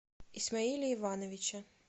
исмаиле ивановиче